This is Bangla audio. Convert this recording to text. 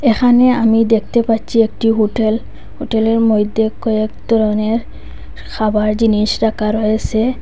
এখানে আমি দেখতে পাচ্ছি একটি হোটেল হোটেলের মইধ্যে কয়েক ধরনের খাবার জিনিস রাখা রয়েসে।